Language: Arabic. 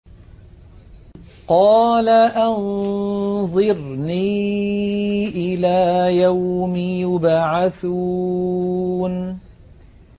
قَالَ أَنظِرْنِي إِلَىٰ يَوْمِ يُبْعَثُونَ